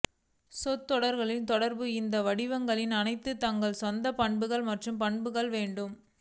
சொற்றொடர்களில் தொடர்பு இந்த வடிவங்களின் அனைத்து தங்கள் சொந்த பண்புகள் மற்றும் பண்புகளை வேண்டும்